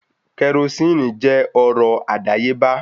Kerosínnì jẹ́ ọrọ̀ àdáyébá